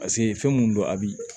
Paseke fɛn minnu don a bɛ